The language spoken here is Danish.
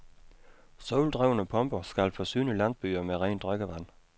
Soldrevne pumper skal forsyne landsbyer med rent drikkevand.